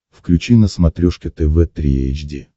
включи на смотрешке тв три эйч ди